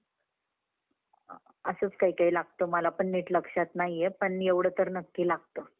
असंच काही काही लागतं मला पण नीट काही लक्षात नाहीये. पण एवढं तर नक्की लागतं.